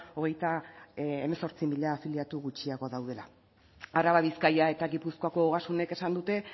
hogeita hemezortzi mila afiliatu gutxiago daudela araba bizkaia eta gipuzkoako ogasunek esan dute